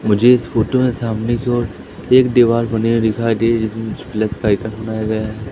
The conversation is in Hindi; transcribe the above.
मुझे इस फोटो में सामने की ओर एक दीवार बनी हुई दिखाई दे रही जिसमें प्लस का आइकन बनाया गया है।